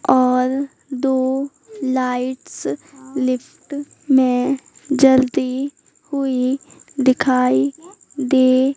और दो lights lift में जलती हुई दिखाई दे--